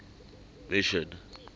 mission